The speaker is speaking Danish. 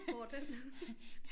Går den?